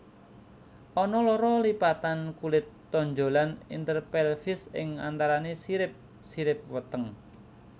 Ana loro lipatan kulit tonjolan interpelvis ing antarané sirip sirip weteng